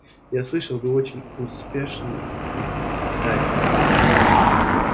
я слышал вы очень успешно их давите